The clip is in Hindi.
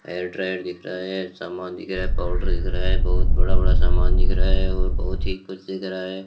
हेयर ड्रायर दिख रहा है ये समान दिख रहा है पाउडर दिख रहा है बहुत बड़ा-बड़ा समान दिख रहा है और बहुत ही कुछ दिख रहा है।